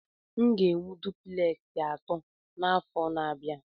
M ga-ewu dupleksi atọ n'afọ na-abịa.